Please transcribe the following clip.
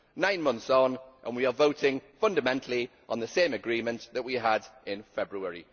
Nine months on, and we are voting fundamentally on the same agreement that we had in February.